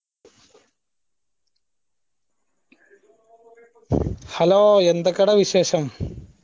hello എന്തൊക്കെടാ വിശേഷം